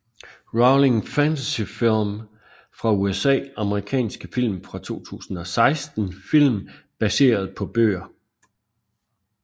Rowling Fantasyfilm fra USA Amerikanske film fra 2016 Film baseret på bøger